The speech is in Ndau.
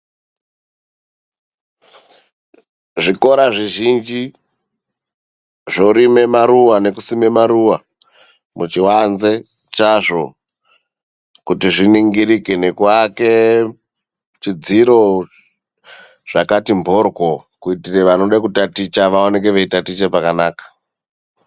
Zvikora zvizhinji zvorime maruwa nekusime maruwa muchiwanze chazvo kuti zviningirike, nekuake zvidziro zvakati mboryo kuitire vanode kutaticha vaoneke veitatiche pakanaka.